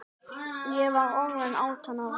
Ég var orðin átján ára.